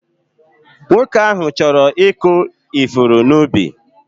Nwoke ahụ chọrọ ịkụ ifuru n'ubi.